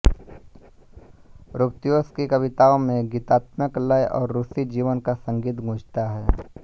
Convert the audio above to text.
Rubtsov की कविताओं में गीतात्मकता लय और रूसी जीवन का संगीत गूँजता है